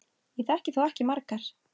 Ég þekki þó ekki margar.